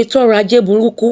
ètòọrọ ajé burúkú